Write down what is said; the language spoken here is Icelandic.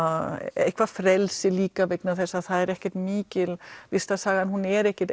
eitthvað frelsi líka vegna þess að það er ekki mikil listasaga hún er ekki